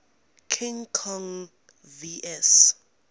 king kong vs